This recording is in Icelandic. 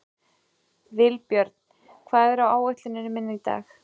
Vilbjörn, hvað er á áætluninni minni í dag?